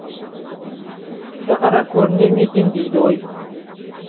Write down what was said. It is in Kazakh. кісі қара көрінер ме екен дейді ғой